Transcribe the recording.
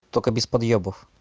только без подъёбов